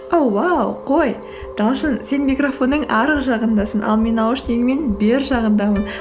оу уау қой талшын сен микрофонның арғы жағындасын ал мен наушнигіммен бер жағындамын